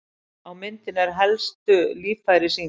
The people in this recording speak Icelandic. Á myndinni er helstu líffæri sýnd.